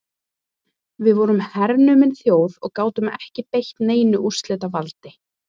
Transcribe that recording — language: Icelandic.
Við vorum hernumin þjóð og gátum ekki beitt neinu úrslitavaldi.